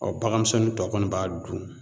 bagan misɛnnin tɔ kɔni b'a dun